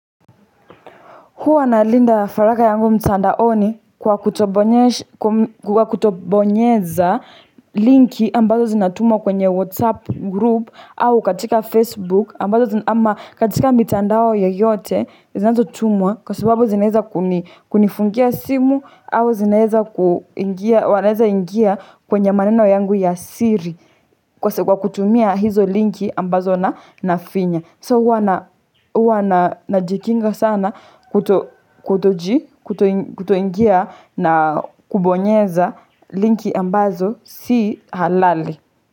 Huwa na linda faragha yangu mtandaoni kwa kutobonyeza linki ambazo zinatumwa kwenye WhatsApp group au katika Facebook. Ama katika mitandao yoyote zinazotumwa kwa sababu zinaweza kunifungia simu au zinaweza wanaweza ingia kwenye maneno yangu ya siri kwa kutumia hizo linki ambazo na nafinya. So huwa najikinga sana kutoji, kutoingia na kubonyeza linki ambazo si halali.